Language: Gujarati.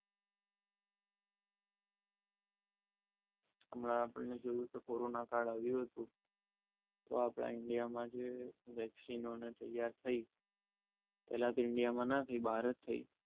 હમણાં આપણે જોયું કે કોરોના કાર્ડ આવ્યો હતો તો આપણે આ ઇન્ડિયામાં જોઈએ વેક્સિના તૈયાર થઈ પહેલા તો ઇન્ડિયામાં નથી